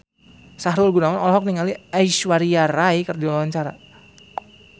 Sahrul Gunawan olohok ningali Aishwarya Rai keur diwawancara